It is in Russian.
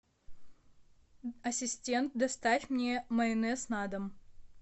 ассистент доставь мне майонез на дом